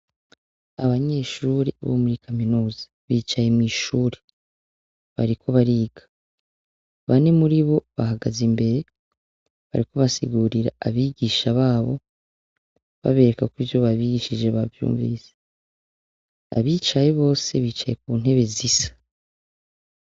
Abanyeshuri bo muri kaminuza bicaye mw'ishuri bariko bariga bane muri bo bahagaze imbere bariko basigurira abigisha babo baberekako ivyo babigishije bavyumvise abicaye bose bicaye ku ntebe zisa.